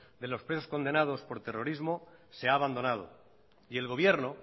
de los presos condenados por terrorismo se ha abandonado y el gobierno